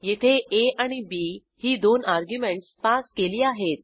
येथे आ आणि बी ही दोन अर्ग्युमेंटस पास केली आहेत